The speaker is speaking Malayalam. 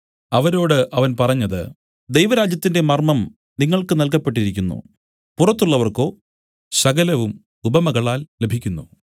അവരോട് അവൻ പറഞ്ഞത് ദൈവരാജ്യത്തിന്റെ മർമ്മം നിങ്ങൾക്ക് നല്കപ്പെട്ടിരിക്കുന്നു പുറത്തുള്ളവർക്കോ സകലവും ഉപമകളാൽ ലഭിക്കുന്നു